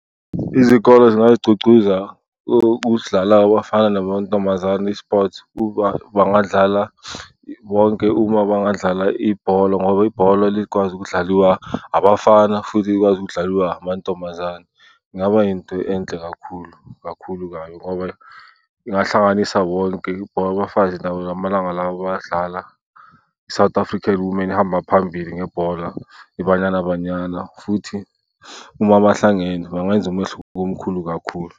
Izikole zingazigcugcuza ukudlala kwabafana namantombazane i-sport, ukuba bangadlala bonke uma bangadlala ibhola ngoba ibhola likwazi ukudlaliwa abafana futhi likwazi ukudlaliwa amantombazane. Kungaba yinto enhle kakhulu kakhulu kabi ngoba ingahlanganisa bonke. Ibhola labafazi lamalanga lawa bayadlala, i-South African Women ihamba phambili ngebhola, iBanyana Banyana. Futhi uma bahlangene, bangayenza umehluko omkhulu kakhulu.